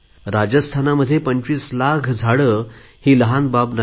राजस्थानात पंचवीस लाख झाडे ही लहान गोष्ट नाही